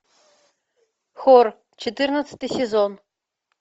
хор четырнадцатый сезон